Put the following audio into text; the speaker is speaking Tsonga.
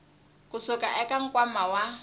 ku suka eka nkwama wa